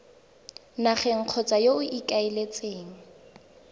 nageng kgotsa yo o ikaeletseng